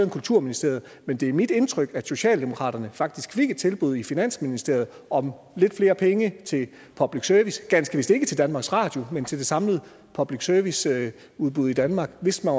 i kulturministeriet men det er mit indtryk at socialdemokratiet faktisk fik et tilbud i finansministeriet om lidt flere penge til public service ganske vist ikke til danmarks radio men til det samlede public service udbud i danmark hvis man